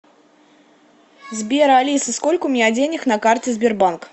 сбер алиса сколько у меня денег на карте сбербанк